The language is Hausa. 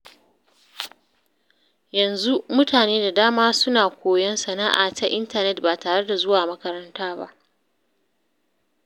Yanzu, mutane da dama suna koyon sana’a ta intanet ba tare da zuwa makaranta ba.